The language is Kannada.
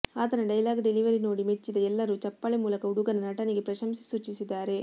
ಆತನ ಡೈಲಾಗ್ ಡಿಲೆವರಿ ನೋಡಿ ಮೆಚ್ಚಿದ ಎಲ್ಲರೂ ಚಪ್ಪಾಳೆ ಮೂಲಕ ಹುಡುಗನ ನಟನೆಗೆ ಪ್ರಶಂಸೆ ಸೂಚಿಸಿದ್ದಾರೆ